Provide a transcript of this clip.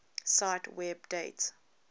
cite web date